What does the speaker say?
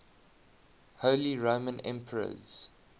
holy roman emperors